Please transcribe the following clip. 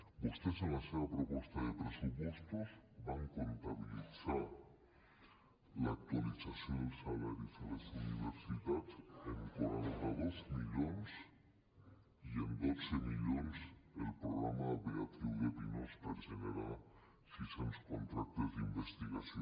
vostès en la seva proposta de pressupostos van comptabilitzar l’actualització dels salaris a les universitats en quaranta dos milions i en dotze milions el programa beatriu de pinós per generar sis cents contractes d’investigació